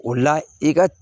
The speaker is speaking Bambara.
O la i ka